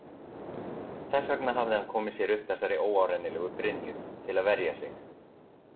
Þess vegna hafði hann komið sér upp þessari óárennilegu brynju, til að verja sig.